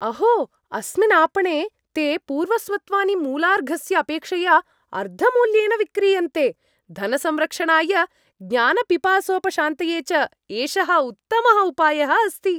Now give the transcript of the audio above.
अहो अस्मिन् आपणे ते पूर्वस्वत्वानि मूलार्घस्य अपेक्षया अर्धमूल्येन विक्रीयन्ते, धनसंरक्षणाय, ज्ञानपिपासोपशान्तये च एषः उत्तमः उपायः अस्ति।